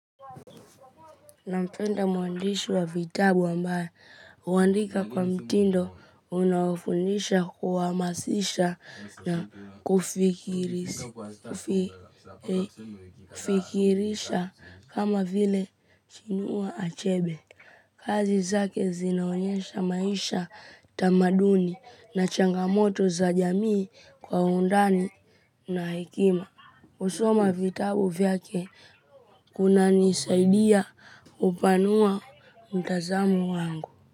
Nampenda mwandishi wa vitabu ambaye huandika kwa mtindo unaofundisha kuhamasisha na kufikirisha kama vile chinua achebe. Kazi zake zinaonyesha maisha tamaduni na changamoto za jamii kwa undani na hekima husoma vitabu vyake kunanisaidia kupanua mtazamo wangu.